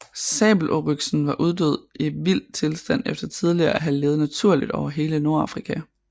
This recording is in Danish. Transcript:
Sabeloryxen var uddød i vild tilstand efter tidligere at have levet naturligt over hele Nordafrika